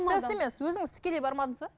сэс емес өзіңіз тікелей бармадыңыз ба